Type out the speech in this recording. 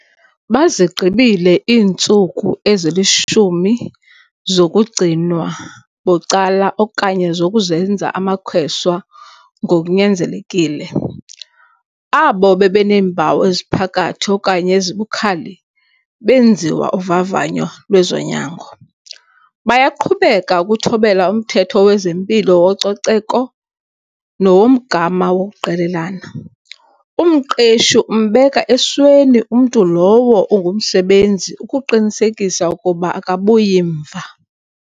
Bazigqibile iintsuku ezili-10 zokugcinwa bucala okanye zokuzenza amakheswa ngokunyanzelekile. Abo bebeneempawu eziphakathi okanye ezibukhali benziwa uvavanyo lwezonyango. Bayaqhubeka ukuthobela umthetho wezempilo wococeko nowomgama wokuqelelana. Umqeshi umbeka esweni umntu lowo ungumsebenzi ukuqinisekisa ukuba akabuyi mva.